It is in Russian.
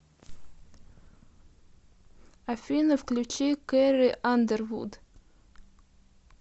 афина включи кэрри андервуд